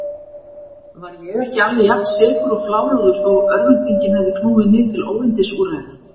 Var ég ekki alveg jafnsekur og fláráður þó örvæntingin hefði knúið mig til óyndisúrræða?